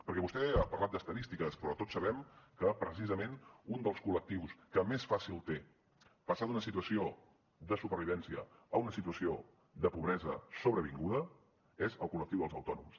perquè vostè ha parlat d’estadístiques però tots sabem que precisament un dels col·lectius que més fàcil té passar d’una situació de supervivència a una situació de pobresa sobrevinguda és el col·lectiu dels autònoms